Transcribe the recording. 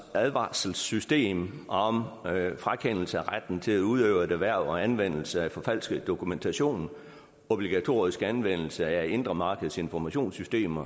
advarselssystem om frakendelse af retten til at udøve et erhverv og anvendelse af forfalsket dokumentation obligatorisk anvendelse af det indre markeds informationssystem